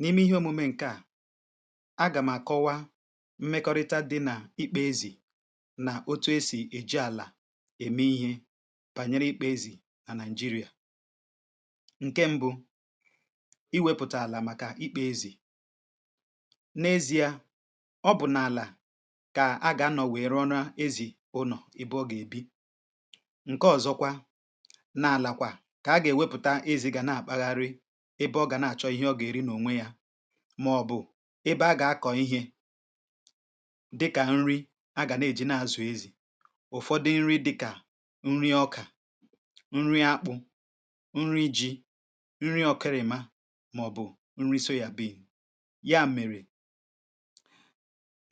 n’ime ihe omume ǹkè a agà mà kọwaa mmekọrịta dị n’ikpė ezì nà otu esì èji àlà ème ihe bànyere ikpė ezì à naị̀jịrịà ǹke m̀bụ iwėpụ̀ta àlà màkà ikpė ezì n’ezi̇ȧ ọ bụ̀ n’àlà kà a gà-anọ̀ nwère ọra ezì ụnọ̀ ebe ọ gà-èbi ǹke ọ̀zọkwa na-àlàkwà kà a gà-èwepụ̀ta ezi̇ gà na-àpagharị ebe ọ gà na-àchọ ihe ọ gà-èri n’ònwe yȧ màọ̀bụ̀ ebe a gà-akọ̀ ihe dịkà nri agà na-èji na-àzụ ezì ụ̀fọdụ nri dịkà nri ọkà nri akpụ̇ nri ji nri ọkeremà màọ̀bụ̀ nri soya bean ya mèrè